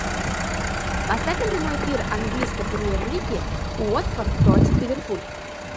поставь нам прямой эфир английской премьер лиги уотфорд против ливерпуль